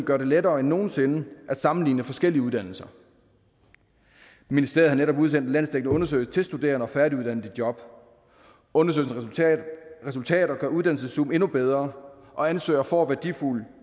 gør det lettere end nogen sinde at sammenligne forskellige uddannelser ministeriet har netop udsendt en landsdækkende undersøgelse til studerende og færdiguddannede i job undersøgelsens resultater gør uddannelseszoom endnu bedre og ansøgere får værdifuld